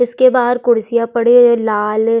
उसके बाहर कुर्सियां पड़े है लाल --